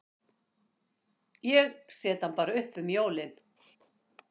Ég set hann bara upp um jól.